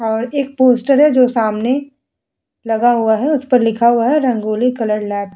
और एक पोस्टर है जो सामने लगा हुआ है उस पर लिखा हुआ है रंगोली कलर लैब ।